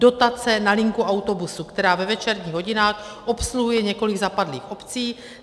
Dotace na linku autobusu, která ve večerních hodinách obsluhuje několik zapadlých obcí.